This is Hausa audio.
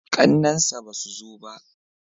ƙannen sa ba su zo ba?